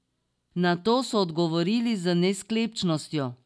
Na to so odgovorili z nesklepčnostjo.